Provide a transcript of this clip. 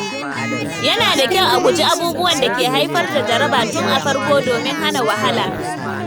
Yana da kyau a guji abubuwan da ke haifar da jaraba tun da farko domin hana wahala.